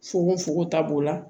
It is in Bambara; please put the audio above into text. Fukonfukon ta b'o la